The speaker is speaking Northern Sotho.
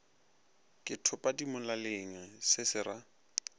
ke thopadimolaleng se se ra